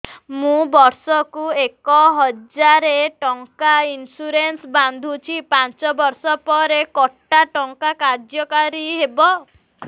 ମୁ ବର୍ଷ କୁ ଏକ ହଜାରେ ଟଙ୍କା ଇନ୍ସୁରେନ୍ସ ବାନ୍ଧୁଛି ପାଞ୍ଚ ବର୍ଷ ପରେ କଟା ଟଙ୍କା କାର୍ଯ୍ୟ କାରି ହେବ